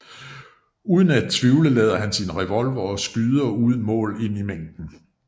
Uden at tvivle lader han sin revolver og skyder uden mål ind i mængden